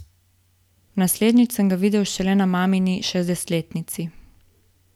Naslednjič sem ga videl šele na mamini šestdesetletnici.